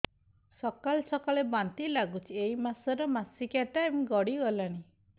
ସକାଳେ ସକାଳେ ବାନ୍ତି ଲାଗୁଚି ଏଇ ମାସ ର ମାସିକିଆ ଟାଇମ ଗଡ଼ି ଗଲାଣି